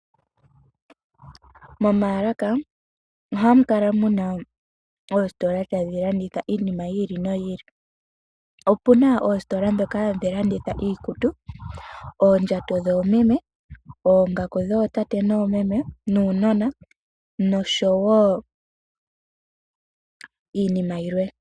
Momalaka ohamukala muna oositola tadhi landitha iinima yili noyili, opuna oositola dhoka hadhi landitha iikutu, ondjato dhomeme, oongaku dhotate nomeme nuunona noshowo iinima yimwe.